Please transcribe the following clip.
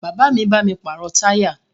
Bàbá mi bá mi pàrọ̀ táyà